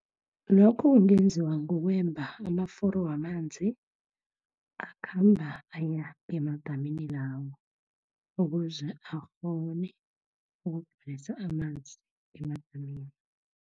Lokho kungenziwa, kukwemba amaforo wamanzi, akhamba aya emadamini lawo, ukuze akghone ukungeza amanzi emadamini